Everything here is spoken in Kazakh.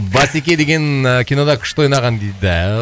басеке деген ііі кинода күшті ойнаған дейді